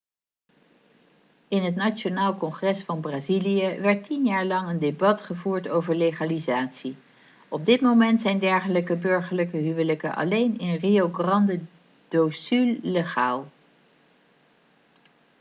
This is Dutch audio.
in het nationaal congres van brazilië werd 10 jaar lang een debat gevoerd over legalisatie op dit moment zijn dergelijke burgerlijke huwelijken alleen in rio grande do sul legaal